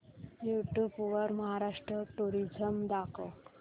YouTube वर Maharashtra tourism दाखव